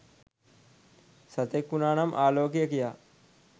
සතෙක් වුනානම් ආලෝකය කියා